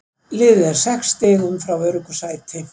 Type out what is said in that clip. Liðið er sex stigum frá öruggu sæti.